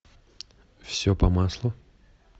все по маслу